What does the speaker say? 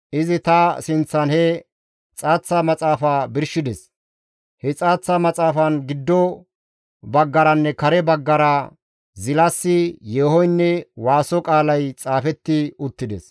Izi ta sinththan he xaaththa maxaafaa birshides; he xaaththa maxaafan giddo baggaranne kare baggara zilasi, yeehoynne waaso qaalay xaafetti uttides.